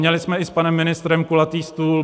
Měli jsme i s panem ministrem kulatý stůl.